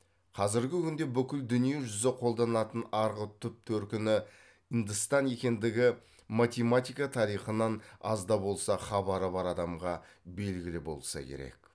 қазіргі күнде бүкіл дүние жүзі қолданатын арғы түп төркіні үндыстан екендігі математика тарихынан аз да болса хабары бар адамға белгілі болса керек